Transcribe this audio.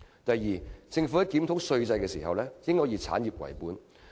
第二，政府在檢討稅制時應以產業為本。